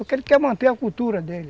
Porque ele quer manter a cultura dele.